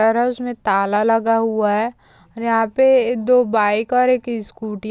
घर है उसमे ताला लगा हुआ है और यहाँ पे दो बाइक और एक स्कूटी --